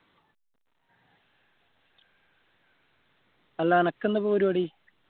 അല്ല അനക്ക് എന്താ ഇപ്പൊ പരിപാടി